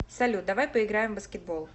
салют давай поиграем в баскетбол